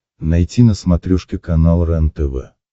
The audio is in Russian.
найти на смотрешке канал рентв